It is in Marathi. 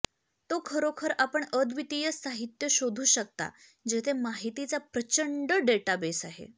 तो खरोखर आपण अद्वितीय साहित्य शोधू शकता जेथे माहितीचा प्रचंड डेटाबेस आहे